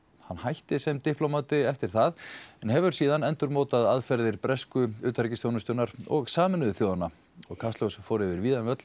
hann hætti sem diplómati eftir það en hefur endurmótað aðferðir bresku utanríkisþjónustunnar og Sameinuðu þjóðanna kastljós fór yfir víðan völl